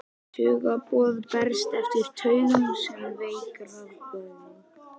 Taugaboð berast eftir taugum sem veik rafboð.